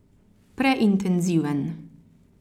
Preintenziven.